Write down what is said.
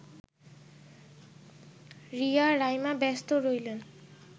রিয়া, রাইমা ব্যস্ত রইলেন